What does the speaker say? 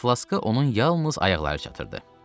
Flaşka onun yalnız ayaqları çatırdı.